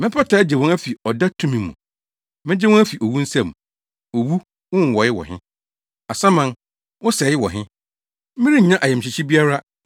“Mɛpata agye wɔn afi ɔda tumi mu. Megye wɔn afi owu nsam. Owu, wo nwowɔe wɔ he? Asaman, wo sɛe wɔ he? “Merennya ayamhyehye biara,